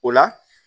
O la